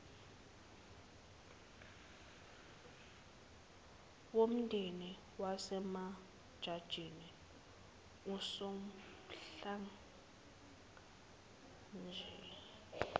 womndeni wasemajajini usonhlalakahle